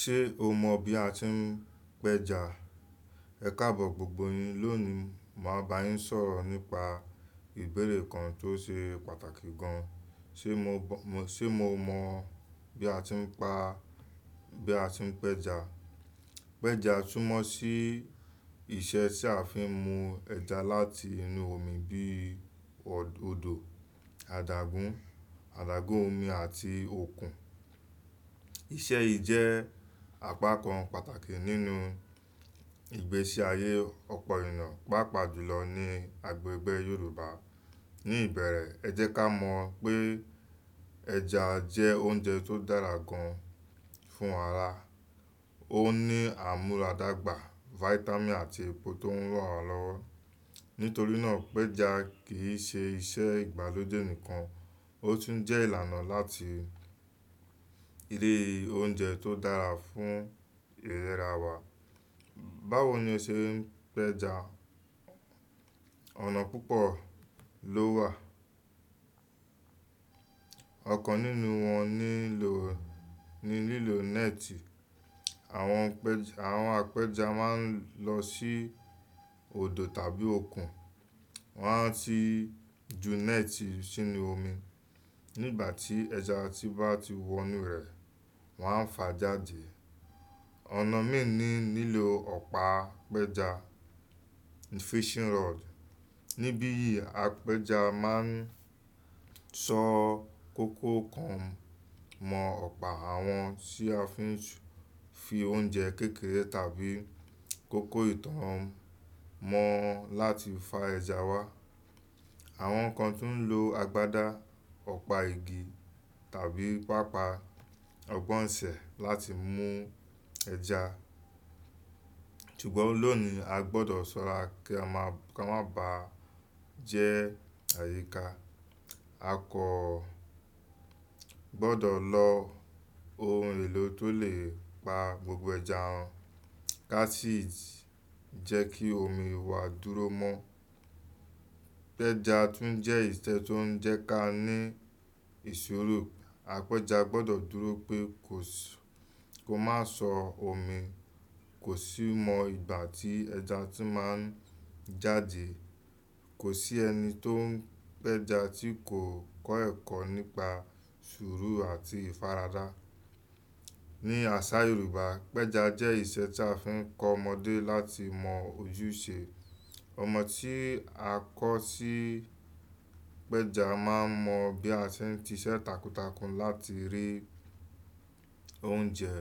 Ṣé o mọ bí a ti ń pẹja? Ẹ kábọ̀ gbogbo yin. Lónìí, màá bá yín sọ̀rọ̀ nípa ìbéèrè kan tó ṣe pàtàkì gan. Ṣé mo mọ bí a ti ń pa-- bí a ti ń pẹja? Pẹja túmọ̀ sí iṣẹ́ tí a fi ń mú ẹja láti inú omi bí i òdò, adágún, adágún omi àti òkun. Iṣẹ́ yìí jẹ́ àpákan pàtàkì nínú ìgbésí ayé ọ̀pọ̀ eniá, pàápàá jùlọ ní agbègbè Yorùbá. Ní ìbẹ̀rẹ̀, ẹ jẹ́ ká mọ̀ pé ẹja jẹ́ oúnjẹ tó dára gan fún ara. Ó ní àmúradàgbà, fáítámì àti epo tó ń ràn wá lọ́wọ́. Nítorí náà, pẹja kì í ṣe iṣẹ́ ìgbàlódé nìkan, ó tún jẹ́ ìlànà láti rí oúnjẹ tó dára fún ìlera wa. Báwo ni o ṣe ń pẹja? Ọ̀nà púpọ̀ ló wà. Ọ̀kan nínú wọn ni lílo net, Awon Àwọn apẹja máa ń lọ sí òdò tàbí òkun, wọ́n á ti ju net sínú omi. Nígbà tí ẹja bá ti wọ inú rẹ̀, wọ́n á fà á jáde. Ọ̀nà míì ni lílo ọ̀pá pẹja, fishing rod. Níbi yìí, apẹja máa ń sọ kókò kan mọ́ ọ̀pá, àwọn sì a fi fi oúnjẹ kékeré tàbí kókó ìtàn mọ́ wọn láti fá ẹja Ṣé o mọ bí a ti ń pẹja? Lónìí a gbọdọ̀ sọ́ra kí a má bàá jẹ́ àyíká. A kò gbọdọ̀ lo ohun èlò tó lè pa gbogbo ẹja run. Cassite jẹ́ kí omi wá dúró mo mọ́. Pẹja tún jẹ́ ìṣe tó ń jẹ́ ká ní ìṣòro. Apẹja gbọdọ̀ dúró pé kó má sọ omi, kò sì mọ ìgbà tí ẹja ti máa jáde. Kò sí ẹni tó ń pẹja tí kò kọ́ ẹ̀kọ́ nípa ṣuuru àti ìfaradá. Ní àṣà Yorùbá, pẹja jẹ́ ìṣe tí a fi ń kọ́ ọmọdé láti mọ ojúṣe. Ọmọ tí a kọ́ sí pẹja máa n mọ bí a ti ń siṣẹ́ takuntakun láti rí oúnjẹ.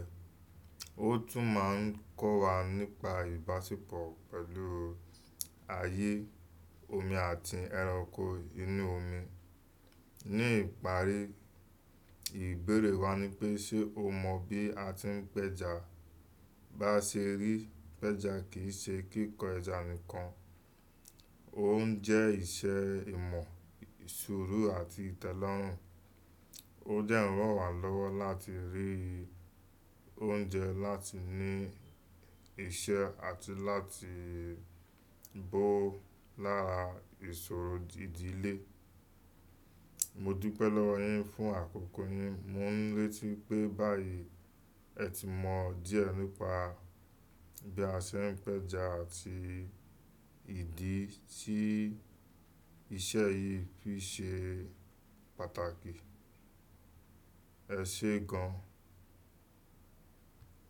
Ó tún máa ń kọ́ wa nípa ìbáṣepọ̀ pẹ̀lú ayé, omi àti ẹranko inú omi. Ní ìparí, ìbéèrè wa ni pé ṣe o mọ bí a ti ń pẹja? Bá ṣe rí i, pẹja kì í ṣe kíkọ ẹja nìkan, ó ń jẹ́ ìṣe ìmọ̀, ṣuuru àti ìtẹ́lọ́rùn. Ó de ń ran wá lọ́wọ́ láti rí oúnjẹ, láti ní iṣẹ́ àti láti bó lára ìṣòro ìdílé. Mo Mo dupẹ̀ lowo yin fún àkókò yín. Mo ń retí pé báyìí ẹ ti mọ díẹ̀ nípa bí a ṣe ń pẹja àti ìdí tí iṣẹ́ yìí fi ṣe pàtàkì. Ẹ ṣé gan.